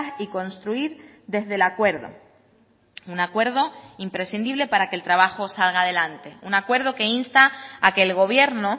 y construir desde el acuerdo un acuerdo imprescindible para que el trabajo salga adelante un acuerdo que insta a que el gobierno